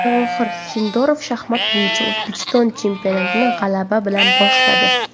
Javohir Sindorov shaxmat bo‘yicha O‘zbekiston chempionatini g‘alaba bilan boshladi.